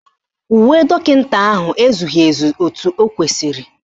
Uwe dọkịta ahụ ezughị ezu etu o kwesiri